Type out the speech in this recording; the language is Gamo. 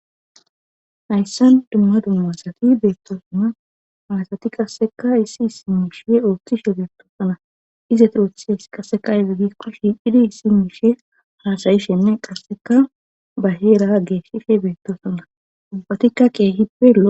Hayssan dumma dummaasati beettoosona haasati qasseka issi simmishe ooththishe beettoosona ize turothes qasseka iza giikkoshi dhidi simmishe hasayishenne qasseka ba heera geeshife beettoosona ubbatikka keehippelo